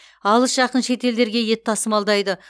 алыс жақын шетелдерге ет тасымалдайды